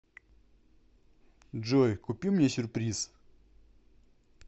джой купи мне сюрприз